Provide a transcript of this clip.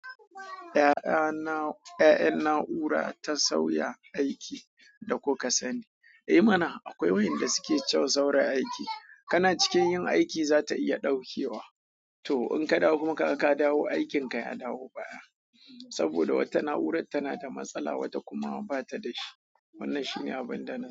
Ya'yana na'ura ta sauya aiki da ko ka sani. I mana akwai wayanda suke cyau saura aiki. Kana cikin yin aiki za ta iya ɗaukewa. To in ka dawo kuma ka dawo, aikinka ya dawo baya. Saboda wata na'urar tana da matsala, wata kuma ba ta da shi. Wannan shi ne abin da na.